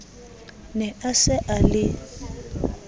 ne a se a le